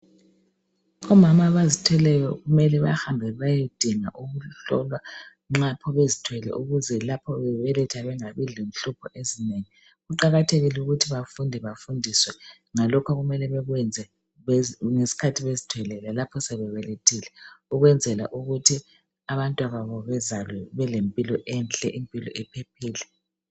Omama abazithweleyo kumele bahambe bayedinga ukuhlolwa nxa lapho bezithwele ukuze lapho bebeletha bangabi lenhlupho ezinengi. Kuqakathekile ukuthi bafunde bafundiswe ngalokho okumele bekwenze ngesikhathi bezithwele lalapho sebebelethile ukwenzela ukuthi abantwababo bezalwe belempilo enhle impilo ephephile.